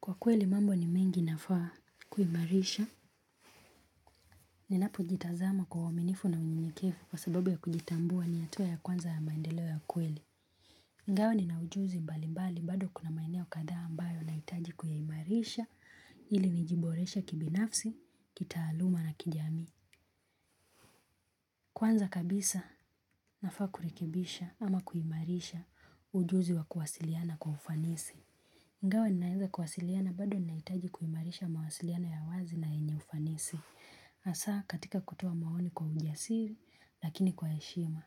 Kwa kweli mambo ni mengi nafaa kuimarisha, ninapo jitazama kwa uaminifu na unyenekevu kwa sababu ya kujitambua ni hatua ya kwanza ya maendeleo ya kweli. Ingawa nina ujuzi mbali mbali bado kuna maeneo kadhaa ambayo nahitaji kuyaimarisha ili nijiboreshe kibinafsi, kitaaluma na kijamii. Kwanza kabisa nafaa kurekebisha ama kuimarisha ujuzi wa kuwasiliana kwa ufanisi. Ingawa ninaweza kuwasiliana bado nahitaji kuimarisha mawasiliano ya wazi na yenye ufanisi. Hasa katika kutoa maoni kwa ujasiri lakini kwa heshima.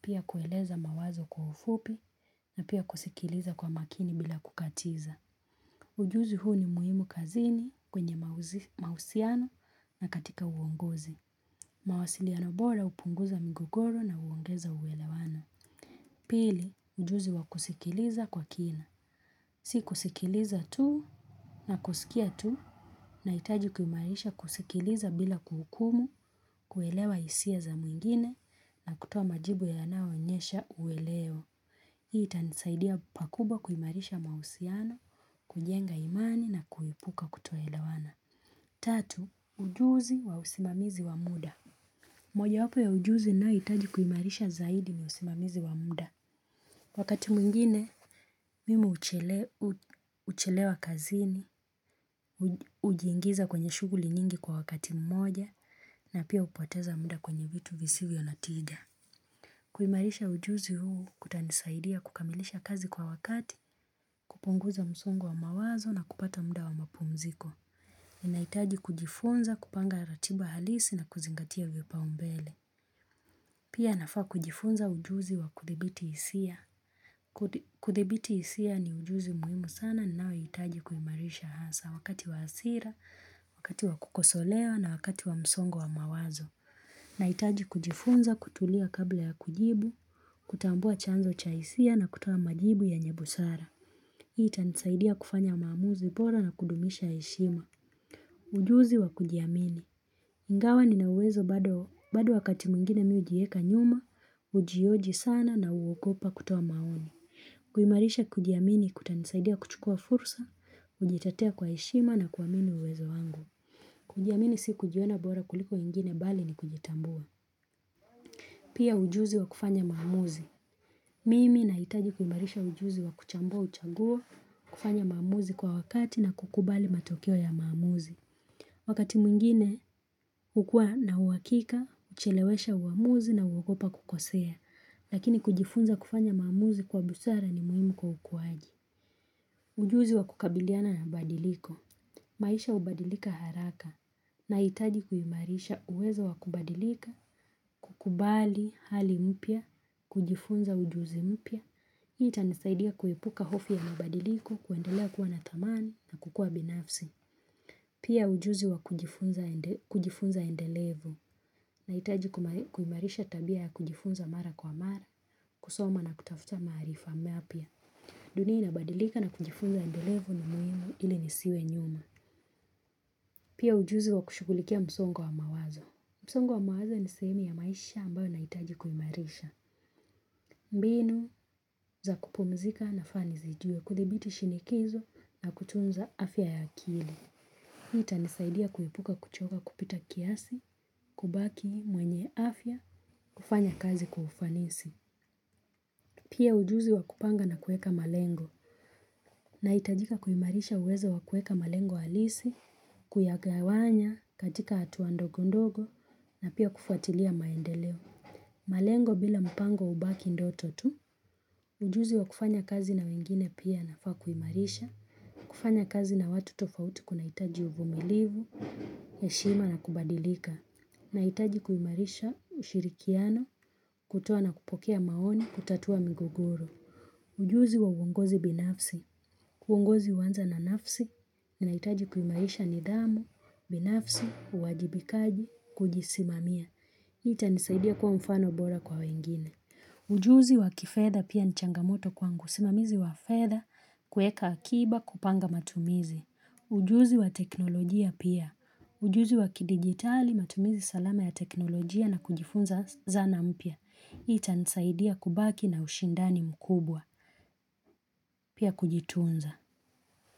Pia kueleza mawazo kwa ufupi na pia kusikiliza kwa makini bila kukatiza. Ujuzi huu ni muhimu kazini kwenye mahusiano na katika uongozi. Mawasiliano bora hupunguza migogoro na huongeza uwelewano. Pili, ujuzi wa kusikiliza kwa kina. Si kusikiliza tu na kusikia tu nahitaji kuimarisha kusikiliza bila kuhukumu kuelewa hisia za mwingine na kutoa majibu yanayoonyesha uelewa. Hii itanisaidia pakubwa kuimarisha mahusiano, kujenga imani na kuepuka kutoelewana. Tatu, ujuzi wa usimamizi wa muda. Mojawapo ya ujuzi ninayohitaji kuimarisha zaidi ni usimamizi wa muda. Wakati mwingine, mimi huchelewa kazini, hujiingiza kwenye shughuli nyingi kwa wakati mmoja, na pia hupoteza muda kwenye vitu visivyo na tiga. Kuimarisha ujuzi huu kutanisaidia kukamilisha kazi kwa wakati, kupunguza msongo wa mawazo na kupata muda wa mapumziko. Ninahitaji kujifunza kupanga ratiba halisi na kuzingatia vipaumbele. Pia nafaa kujifunza ujuzi wa kuthibiti hisia. Kuthibiti hisia ni ujuzi muhimu sana ninao hitaji kuimarisha hasa wakati wa hasira, wakati wa kukosolewa na wakati wa msongo wa mawazo. Nahitaji kujifunza kutulia kabla ya kujibu, kutambua chanzo cha hisia na kutoa majibu yenye busara. Hii tanisaidia kufanya maamuzi bora na kudumisha heshima. Ujuzi wa kujiamini. Ingawa nina uwezo bado wakati mwingine mimi hujieka nyuma, hujioji sana na huogopa kutoa maoni. Kuimarisha kujiamini kutanisaidia kuchukua fursa, ujitetea kwa heshima na kuamini uwezo wangu. Kujiamini si kujiona bora kuliko ingine bali ni kujitambua. Pia ujuzi wa kufanya maamuzi. Mimi nahitaji kuimarisha ujuzi wa kuchambua uchaguo, kufanya maamuzi kwa wakati na kukubali matokeo ya maamuzi. Wakati mwingine, hukua na uhakika, kuchelewesha uamuzi na huogopa kukosea, lakini kujifunza kufanya maamuzi kwa busara ni muhimu kwa ukuaji. Ujuzi wa kukabiliana na badiliko. Maisha hubadilika haraka. Nahitaji kuimarisha uweza wa kubadilika, kukubali hali mpya, kujifunza ujuzi mpya. Hii itanisaidia kuepuka hofu ya mabadiliko kuendelea kuwa na dhamani na kukua binafsi. Pia ujuzi wa kujifunza endelevu nahitaji kuimarisha tabia ya kujifunza mara kwa mara kusoma na kutafuta maarifa mapya. Dunia inabadilika na kujifunza endelevu ni muhimu ili nisiwe nyuma. Pia ujuzi wa kushughulikia msongo wa mawazo. Msongo wa mawazo ni sehemu ya maisha ambayo nahitaji kuimarisha. Mbinu za kupumzika na fani zijue kuthibiti shinikizo na kutunza afya ya akili. Itanisaidia kuepuka kuchoka kupita kiasi, kubaki mwenye afya, kufanya kazi kwa ufanisi. Pia ujuzi wa kupanga na kueka malengo. Nahitajika kuimarisha uweza wa kueka malengo halisi, kuyagawanya, katika hatua ndogo ndogo na pia kufuatilia maendeleo. Malengo bila mpango hubaki ndoto tu. Ujuzi wa kufanya kazi na wengine pia nafaa kuimarisha. Kufanya kazi na watu tofauti kunahitaji uvumilivu, heshima na kubadilika. Nahitaji kuimarisha ushirikiano, kutoa na kupokea maoni, kutatua migogoro. Ujuzi wa uongozi binafsi, uongozi huanza na nafsi, na nahitaji kuimarisha nidhamu, binafsi, uwajibikaji, kujisimamia. Hii itanisaidia kuwa mfano bora kwa wengine. Ujuzi wa kifedha pia ni changamoto kwangu usimamizi wa fedha, kueka akiba, kupanga matumizi. Ujuzi wa teknolojia pia, ujuzi wa kidigitali, matumizi salama ya teknolojia na kujifunza zana mpya. Itanisaidia kubaki na ushindani mkubwa, pia kujitunza.